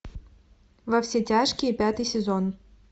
во все тяжкие пятый сезон